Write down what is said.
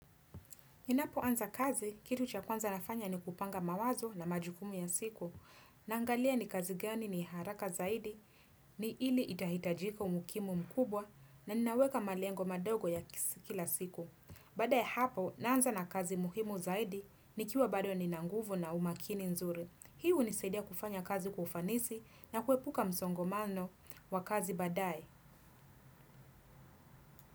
Ninapo anza kazi, kitu cha kwanza nafanya ni kupanga mawazo na majukumu ya siku. Na angalia ni kazi gani ni haraka zaidi, ni ili itahitajika umukimu mkubwa na ninaweka malengo madogo ya kila siku. Baada ya hapo, naanza na kazi muhimu zaidi ni kiwa bado ni nanguvu na umakini nzuri. Hiu hunisaidia kufanya kazi kwa ufanisi na kuepuka msongomano wa kazi baadae.